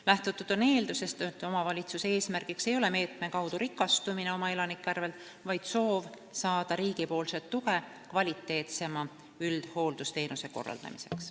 Lähtutud on eeldusest, et omavalitsuse eesmärk ei ole meetme kaudu rikastumine oma elanike arvel, vaid soov saada riigi tuge kvaliteetsema üldhooldusteenuse korraldamiseks.